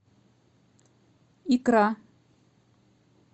икра